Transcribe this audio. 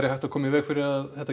hægt að koma í veg fyrir að þetta